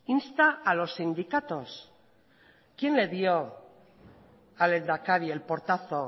insta a los sindicatos quién le dio al lehendakari el portazo